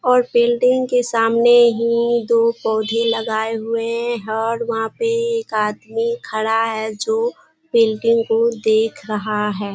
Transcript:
और बिल्डिंग के सामने हीं दो पौधे लगाए हुए हैं और वहाँ पे एक आदमी खड़ा है जो बिल्डिंग को देख रहा है।